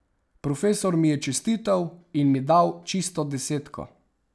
Profesor mi je čestital in mi dal čisto desetko.